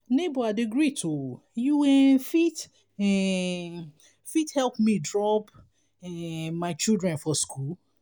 nebor i dey greet o you um fit um fit help me drop um my children for skool?